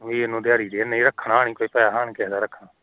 B ਇਹਨੂੰ ਦਿਹਾੜੀ ਦੇ, ਨੀ ਰੱਖਣਾ ਨੀ ਕੋਈ ਪੈਸੇ ਨੀ ਕਿਸੇ ਦਾ ਰੱਖਣਾ